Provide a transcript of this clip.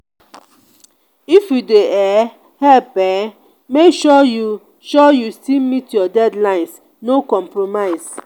if you dey um help um make sure you sure you still meet your deadlines no compromise.